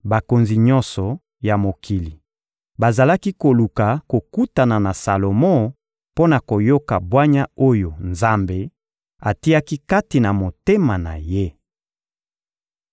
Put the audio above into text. Bakonzi nyonso ya mokili bazalaki koluka kokutana na Salomo mpo na koyoka bwanya oyo Nzambe atiaki kati na motema na ye.